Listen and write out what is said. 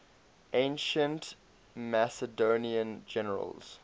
ancient macedonian generals